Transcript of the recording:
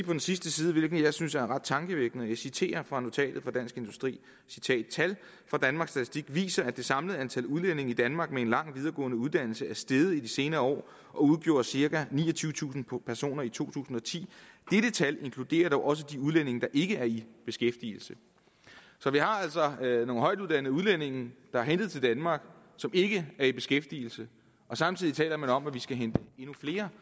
den sidste side hvilke jeg synes er ret tankevækkende og jeg citerer fra notatet fra dansk industri tal fra danmarks statistik viser at det samlede antal udlændinge i danmark med en lang videregående uddannelse er steget i de senere år og udgjorde cirka niogtyvetusind personer i to tusind og ti dette tal inkluderer dog også de udlændinge der ikke er i beskæftigelse vi har altså nogle højtuddannede udlændinge der er hentet til danmark som ikke er i beskæftigelse og samtidig taler man om at vi skal hente endnu flere